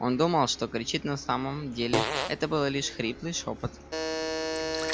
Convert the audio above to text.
он думал что кричит на самом деле это было лишь хриплый шёпот